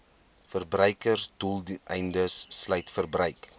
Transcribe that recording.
verbruiksdoeleindes sluit verbruik